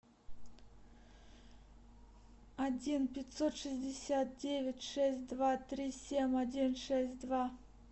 один пятьсот шестьдесят девять шесть два три семь один шесть два